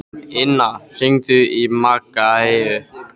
Inna, hringdu í Maggeyju.